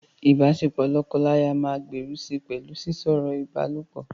Ìbáṣepọ̀ lọ́kọláya máa gbèrú si pẹ̀lú sísọ̀rọ̀ ìbálòpọ̀.